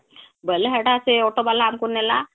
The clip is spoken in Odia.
ବୋଇଲେ ହେଟା ସେ auto ଵାଲା ଆମକୁ ନେଲା